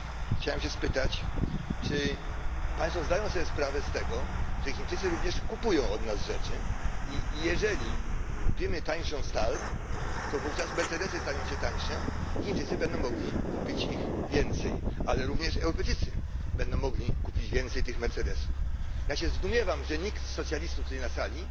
Chciałem się spytać, czy państwo zdają sobie sprawę z tego, że Chińczycy również kupują od nas rzeczy i jeżeli kupimy tańszą stal, to wówczas mercedesy staną się tańsze i Chińczycy będą mogli kupić ich więcej, ale również Europejczycy będą mogli kupić więcej tych mercedesów? Ja się zdumiewam, że nikt z socjalistów tutaj na sali